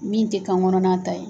Min tɛ kan kɔnɔna ta ye.